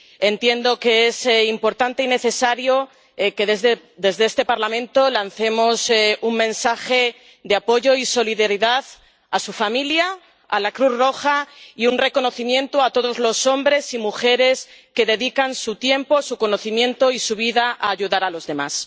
Entiendo que es importante y necesario que desde este Parlamento lancemos un mensaje de apoyo y solidaridad a su familia y a la Cruz Roja y un reconocimiento a todos los hombres y mujeres que dedican su tiempo, su conocimiento y su vida a ayudar a los demás.